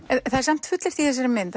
það er samt fullyrt í þessari mynd